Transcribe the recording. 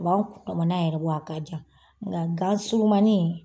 U b'an kundamana yɛrɛ bɔ wa a ka jan u ka gan surumani